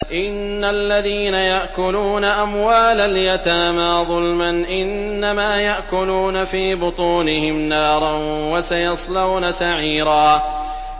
إِنَّ الَّذِينَ يَأْكُلُونَ أَمْوَالَ الْيَتَامَىٰ ظُلْمًا إِنَّمَا يَأْكُلُونَ فِي بُطُونِهِمْ نَارًا ۖ وَسَيَصْلَوْنَ سَعِيرًا